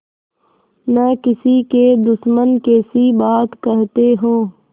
न किसी के दुश्मन कैसी बात कहते हो